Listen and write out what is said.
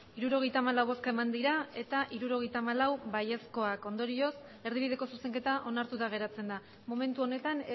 hirurogeita hamalau bai hirurogeita hamalau ondorioz erdibideko zuzenketa onartuta geratzen da momentu honetan